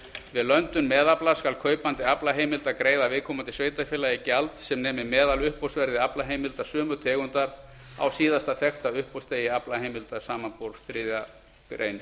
við löndun meðafla skal kaupandi aflaheimilda greiða viðeigandi sveitarfélagi gjald sem nemi meðaluppboðsverði aflaheimilda sömu tegundar á síðasta þekkta uppboðsdegi aflaheimilda samanber þriðju grein